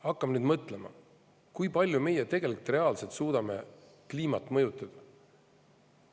Hakkame nüüd mõtlema: kui palju me tegelikult suudame kliimat mõjutada?